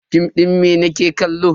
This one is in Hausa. Fim din mene kike kallo?